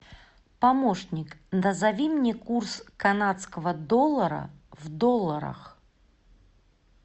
помощник назови мне курс канадского доллара в долларах